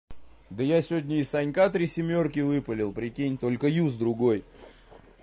да я сегодня и санька три семёрки выпалил прикинь только юз другой